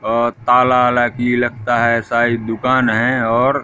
अ ताला वाला की लगता है ऐसा एक दुकान है और--